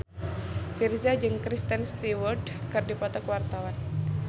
Virzha jeung Kristen Stewart keur dipoto ku wartawan